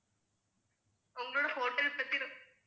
உங்களோட hotel பத்தி ரொம்ப